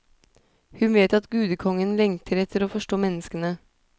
Hun vet at gudekongen lengter etter å forstå menneskene.